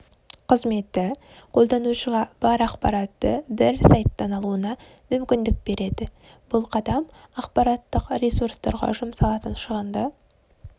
қызметі қолданушыға бар ақпаратты бір сайттан алуына мүмкіндік береді бұл қадам ақпараттық ресурстарға жұмсалатын шығынды